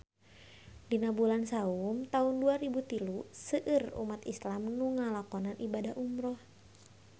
Dina bulan Saum taun dua rebu tilu seueur umat islam nu ngalakonan ibadah umrah